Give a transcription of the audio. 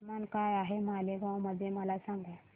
तापमान काय आहे मालेगाव मध्ये मला सांगा